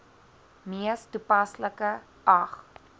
mees toepaslike ag